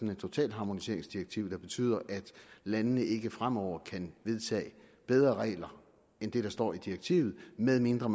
et totalharmoniseringsdirektiv der betyder at landene ikke fremover kan vedtage bedre regler end dem der står i direktivet medmindre